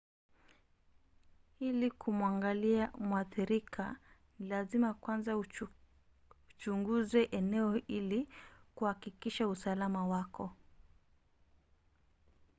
ili kumwangalia mwathirika ni lazima kwanza uchunguze eneo ili kuhakikisha usalama wako